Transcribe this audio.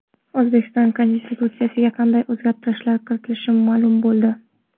O‘zbekiston Konstitutsiyasiga qanday o‘zgartirishlar kiritilishi ma’lum bo‘ldi.